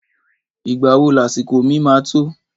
Ìgbá wò làsíkò mi mà tò?